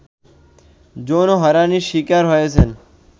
যৌন হয়রানির শিকার হয়েছেন